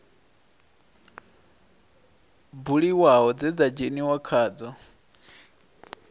buliwaho dze dza dzheniwa khadzo